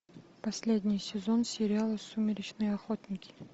последний сезон сериала сумеречные охотники